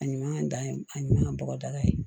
A ɲuman da ye a ɲuman bɔgɔdaga ye